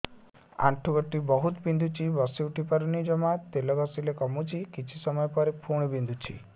ଆଣ୍ଠୁଗଣ୍ଠି ବହୁତ ବିନ୍ଧୁଛି ବସିଉଠି ପାରୁନି ଜମା ତେଲ ଘଷିଲେ କମୁଛି କିଛି ସମୟ ପରେ ପୁଣି ବିନ୍ଧୁଛି